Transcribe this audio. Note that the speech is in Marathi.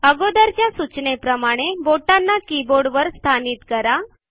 अगोदरच्या सूचनेप्रमाणे बोटांना कीबोर्ड वर स्थानित करा